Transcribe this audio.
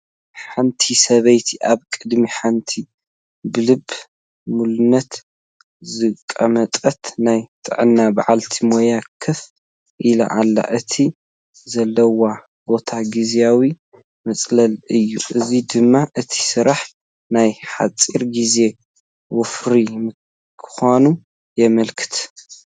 ሓንቲ ሰበይቲ ኣብ ቅድሚ ሓንቲ ብልበ ሙሉነት ዝተቐመጠና ናይ ጥዕና በዓልቲ ሞያ ኮፍ ኢላ ኣላ፡፡ እቲ ዘለውኦ ቦታ ግዚያዊ መፅለሊ እዩ፡፡ እዚ ድማ እቲ ስራሕ ናይ ሓፂር ግዜ ወፍሪ ምዃኑ የምልክት፡፡